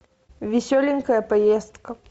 веселенькая поездка